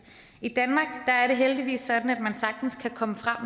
i danmark er det heldigvis sådan at man sagtens kan komme frem